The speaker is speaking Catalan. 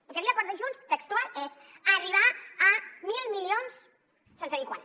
el que diu l’acord de junts textual és arribar a mil milions sense dir quan